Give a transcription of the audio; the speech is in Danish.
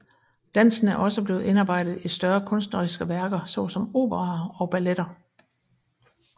Dansen er også blevet indarbejdet i større kunstneriske værker såsom operaer og balletter